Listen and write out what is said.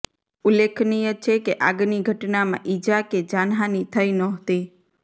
ઉલ્લેખનિય છે કે આગની ઘટનામાં ઈજા કે જાનહાની થઈ નહોતી